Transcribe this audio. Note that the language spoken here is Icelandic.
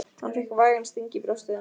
Hann fékk vægan sting í brjóstið.